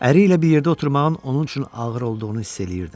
Əri ilə bir yerdə oturmağın onun üçün ağır olduğunu hiss eləyirdim.